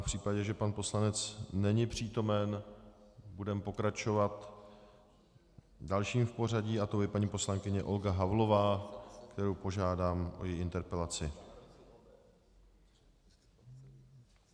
V případě, že pan poslanec není přítomen, budeme pokračovat dalším v pořadí a to je paní poslankyně Olga Havlová, kterou požádám o její interpelaci.